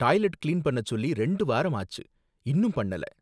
டாய்லெட்ட clean பண்ணச் சொல்லி ரெண்டு வாரம் ஆச்சு, இன்னும் பண்ணல.